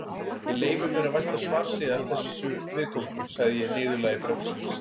Ég leyfi mér að vænta svars yðar þessu viðkomandi, sagði ég í niðurlagi bréfsins.